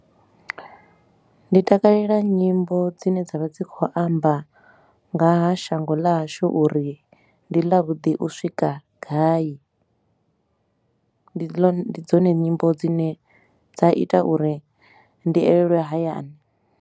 Ndi takalela nyimbo dzine dza vha dzi kho amba nga ha shango ḽa hashu uri ndi ḽa vhuḓi u swika gai, ndi dzone nyimbo dzine dza ita uri ndi elelwe hayani.